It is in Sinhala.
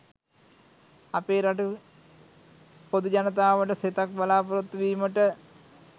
අපේ රටේ පොදු ජනතාවට සෙතක් බලාපොරොත්තුවීමට